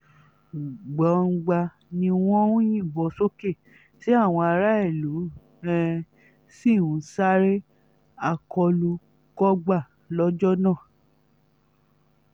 gbọ̀ngbàà ni wọ́n ń yìnbọn sókè tí àwọn aráàlú um sì ń sáré akólú-kógbá lọ́jọ́ náà um